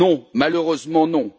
Non, malheureusement non.